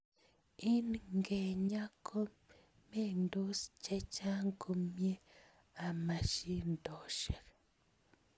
Ing ngenyaa ko mengdos chechang komiee ama shidoshek.